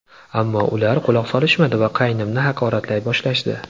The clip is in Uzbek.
Ammo ular quloq solishmadi va qaynimni haqoratlay boshlashdi.